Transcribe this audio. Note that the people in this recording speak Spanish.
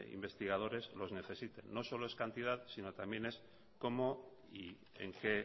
investigadores los necesiten no solo es cantidad sino también es cómo y en qué